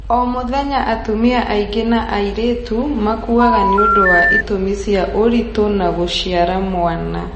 O mũthenya atumia aingĩ na airĩtu makuaga nĩũndũ wa itumi cia ũritũ na gũciara mwana